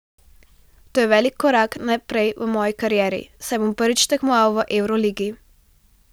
To je velik korak naprej v moji karieri, saj bom prvič tekmoval v evroligi.